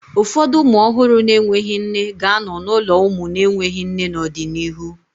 Ụfọdụ ụmụ ọhụrụ na-enweghị nne ga-anọ n'ụlọ ụmụ na-enweghị nne n'ọdịnihu